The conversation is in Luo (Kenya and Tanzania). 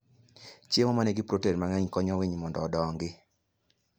Chiemo ma nigi protein mang'eny konyo winy mondo odongi.